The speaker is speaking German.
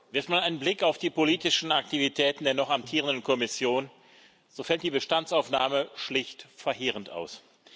Wirft man einen Blick auf die politischen Aktivitäten der noch amtierenden Kommission, so fällt die Bestandsaufnahme schlicht verheerend aus.